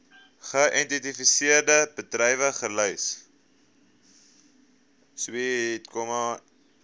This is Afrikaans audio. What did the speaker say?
geïdentifiseerde bedrywe gelys